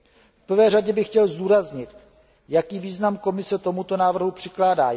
V prvé řadě bych chtěl zdůraznit, jaký význam Komise tomuto návrhu přikládá.